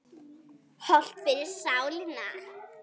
Hollt fyrir sálina.